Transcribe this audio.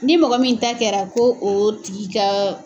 Ni mɔgɔ min taa kɛra ko o tigi ka